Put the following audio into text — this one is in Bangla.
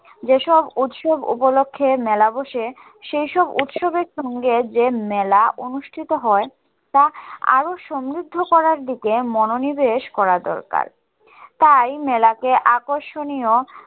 যেসব উৎসব উপলক্ষে মেলাবসে সেইসব উৎসবের সঙ্গে যে মেলা অনুষ্ঠিত হয় তা আরো সমৃদ্ধ করার দিকে মনো নিবেশ করা দরকার তাই আকর্ষণীয়